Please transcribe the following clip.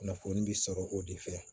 Kunnafoni bi sɔrɔ o de fɛ